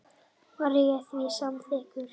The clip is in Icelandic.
Var ég því samþykkur.